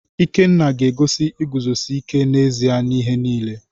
Ikenna ga-egosi iguzosi ike n’ezi ihe n’ihe niile.